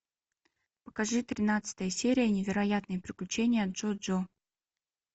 покажи тринадцатая серия невероятные приключения джоджо